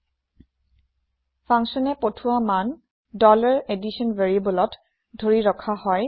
functionয়ে পঠিৱা মান addition variableত ধৰি ৰখা হয়